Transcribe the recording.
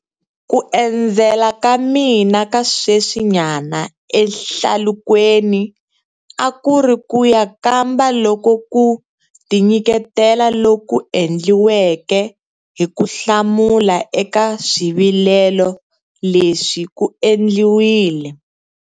Ku endzela ka mina ka sweswi nyana ehlalukweni a ku ri ku ya kamba loko ku tinyiketela loku endliweke hi ku hlamula eka swivilelo leswi ku endliwile.